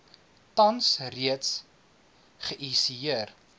tans reeds geihisieer